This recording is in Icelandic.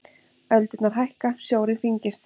Öldurnar hækka, sjórinn þyngist.